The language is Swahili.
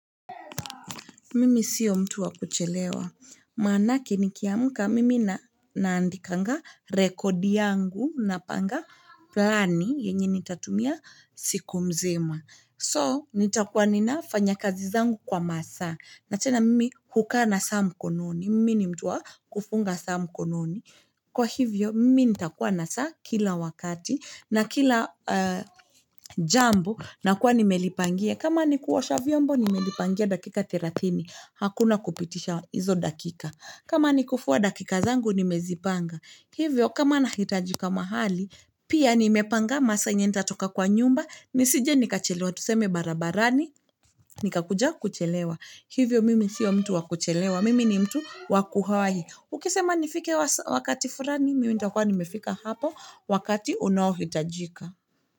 Mimi sio mtu wa kuchelewa maanake nikiamka mimi na naandikanga rekodi yangu napanga plani yenye nitatumia siku mzima so nitakuwa ninafanya kazi zangu kwa masaa na tena mimi hukaa na saa mkononi mimi ni mtu wa kufunga saa mkononi kwa hivyo mimi nitakuwa na saa kila wakati na kila jambo na kuwa nimelipangia kama ni kuosha vyombo nimelipangia dakika thelathini hakuna kupitisha hizo dakika kama ni kufua dakika zangu nimezipanga hivyo kama na hitajika mahali pia nimepanga masa yenye nitoka kwa nyumba nisije nikachelewa tuseme barabarani nikakuja kuchelewa hivyo mimi sio mtu wa kuchelewa mimi ni mtu wa kuwahi ukisema nifike wakati fulani mimi nitakuwa nimefika hapo wakati unaohitajika.